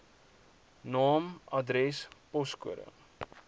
naam adres poskode